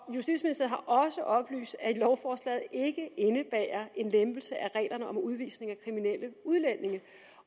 også oplyst at lovforslaget ikke indebærer en lempelse af reglerne om udvisning af kriminelle udlændinge